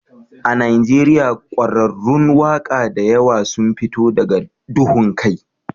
A Najeriya ƙwararrun waƙa da yawa sun fito daga duhun kai